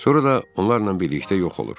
Sonra da onlarla birlikdə yox olur.